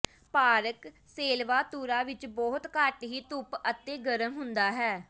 park ਸੇਲਵਾਤੁਰਾ ਵਿੱਚ ਬਹੁਤ ਘੱਟ ਹੀ ਧੁੱਪ ਅਤੇ ਗਰਮ ਹੁੰਦਾ ਹੈ